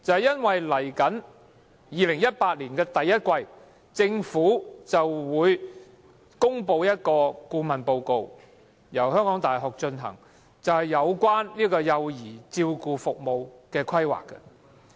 因為在2018年第一季，政府便會公布由香港大學進行，有關幼兒照顧服務規劃的顧問報告。